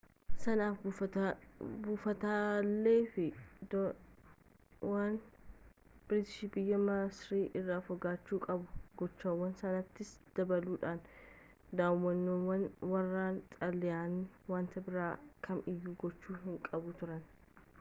sanaaf buufataalee fi dooniiwwan biriitish biyya masir irraa fagaachuu qabu gochawwan sanniinitti dabaluudhaan dooniiwwan waraanaa xaaliyaanii wanta biraa kam iyyuu gochuu hinqaban turan